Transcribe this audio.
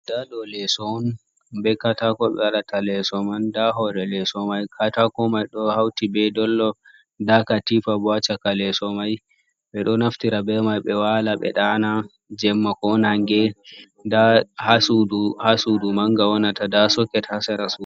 Ndaa ɗo leeso on, be kataako ɓe waɗata leeso man. Ndaa hoore leeso may, kataako may ɗo hawti be dollop, ndaa katiifa bo a caka leeso may. Ɓe ɗoo naftira be may ɓe waala ɓe ɗaana, jemma ko naange .Ndaa haa suudu mannga wonata ,ndaa soket haa sera suudu.